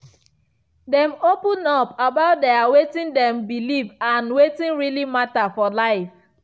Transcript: dem open up about their wetin dem believe and wetin really matter for life.